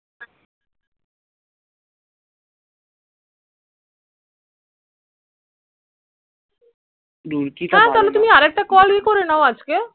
হা তাহলে তুমি আর একটা call এয়ে করে নাও আজকে